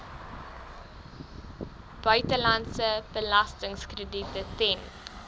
buitelandse belastingkrediete ten